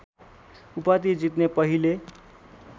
उपाधि जित्ने पहिले